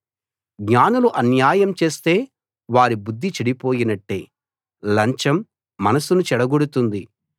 జ్ఞానులు అన్యాయం చేస్తే వారి బుద్ధి చెడిపోయినట్టే లంచం మనసును చెడగొడుతుంది